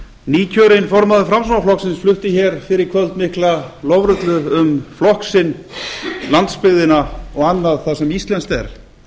nýkjörinn formaður framsóknarflokksins flutti hér fyrr í kvöld mikla lofrullu um flokk sinn landsbyggðina og annað það sem íslenskt er